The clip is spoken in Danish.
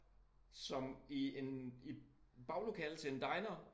Som i en i baglokalet til en diner